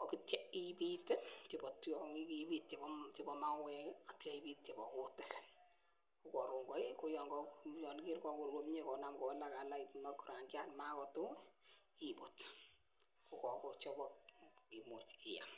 aitya ibit ih, ibit chebo mawek ih aitya ibit chebo kutik ko karon kaii yekakowalakrangiat ibut akimuche iam